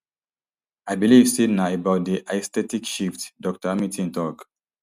i believe say na about di aesthetic shift dr hamilton tok